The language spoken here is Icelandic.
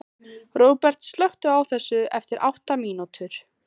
Róbert, slökktu á þessu eftir átta mínútur.